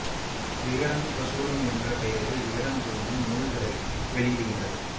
விகடன் பிரசுரம் என்ற பெயரில் விகடன் குழுமம் நூல்களை வெளியிடுகின்றது